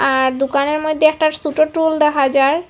আর দোকানের মইধ্যে একটা সোটো টুল দেখা যায়।